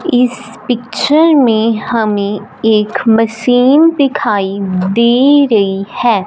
इस पिक्चर में हमें एक मशीन दिखाई दे रही है।